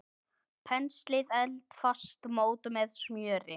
Penslið eldfast mót með smjöri.